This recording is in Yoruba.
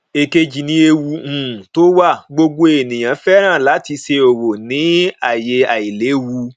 èkejì ni ewu um tó wà gbogbo ènìyàn fẹràn láti ṣe òwò ní ayé àìlèwu